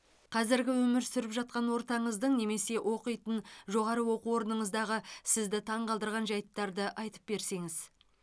қазіргі өмір сүріп жатқан ортаңыздың немесе оқитын жоғары оқу орыныңыздағы сізді таңғалдырған жайттарды айтып берсеңіз